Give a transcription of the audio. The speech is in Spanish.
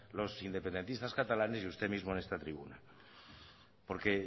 los independentistas catalanes y usted mismo en esta tribuna porque